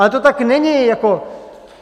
Ale to tak není jako.